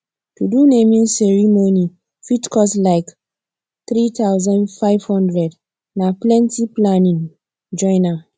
to do naming ceremony fit cost like three thousand five hundred na plenty planning join am